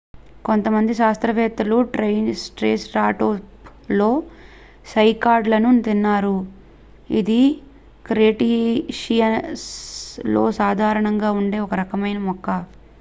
కొంతమంది శాస్త్రవేత్తలు ట్రైసెరాటోప్ లు సైకాడ్ లను తిన్నారు ఇది క్రెటేషియస్ లో సాధారణంగా ఉండే ఒక రకమైన మొక్క